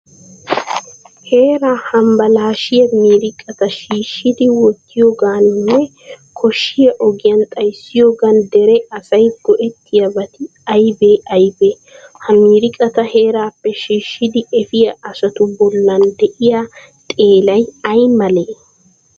Heeraa hambbalaashshiya miiriqata shiishshidi wottiyogaaninne koshshiya ogiyan xayssiyogan dere asay go"ettiyobati aybee aybee? Ha miiriqata heeraappe shiishshidi efiya asatu bollan de'iya xeelay ay male?